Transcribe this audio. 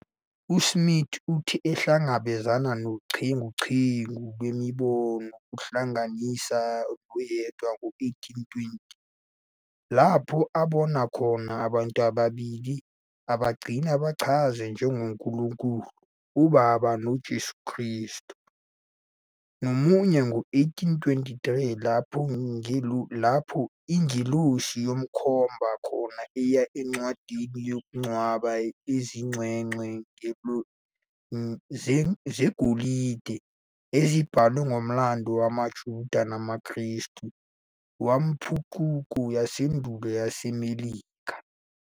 USmith uthe uhlangabezane nochungechunge lwemibono, kuhlanganisa noyedwa ngo-1820 lapho abona khona "abantu ababili", abagcina ebachaze njengoNkulunkulu uBaba noJesu Kristu, nomunye ngo-1823 lapho ingelosi yamkhomba khona eya encwadini yokungcwaba izingcwecwe zegolide ezibhalwe ngomlando wamaJuda namaKrestu wempucuko yasendulo yaseMelika.